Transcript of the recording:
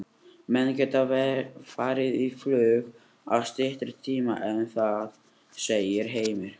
Menn geta farið á flug á styttri tíma en það, segir Heimir.